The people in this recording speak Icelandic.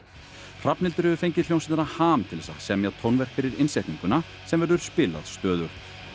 Hrafnhildur hefur fengið hljómsveitina ham til þess að semja tónverk fyrir innsetninguna sem verður spilað stöðugt